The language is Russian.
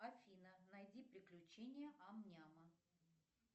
афина найди приключения ам няма